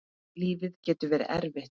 Lífið getur verið erfitt.